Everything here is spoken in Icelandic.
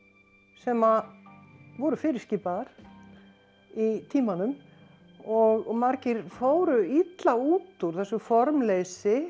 sem að voru fyrirskipaðar í tímanum og margir fóru illa út úr þessu formleysi